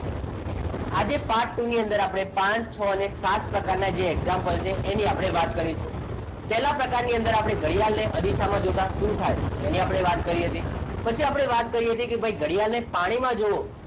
આજે part two ની અંદર આપણે પાંચ છ અને સાત પ્રકારના જે એક્ઝામ્પલ છે એ આપણે વાત કરીશું. પહેલા પ્રકારની અંદર આપણને ઘડિયાળને અરીસામાં જોતા શું થાય એની આપણે વાત કરી હતી. પછી આપણે વાત કરીએ છીએ કે ભાઈ ઘડિયાળને પાણીમાં જોયું.